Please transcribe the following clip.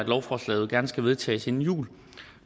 lovforslaget gerne skal vedtages inden jul